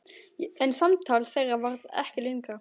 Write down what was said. En samtal þeirra varð ekki lengra.